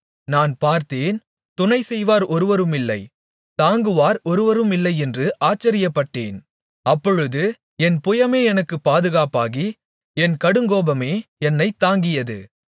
நான் பார்த்தேன் துணை செய்வார் ஒருவருமில்லை தாங்குவார் ஒருவருமில்லை என்று ஆச்சரியப்பட்டேன் அப்பொழுது என் புயமே எனக்கு பாதுகாப்பாகி என் கடுங்கோபமே என்னைத் தாங்கியது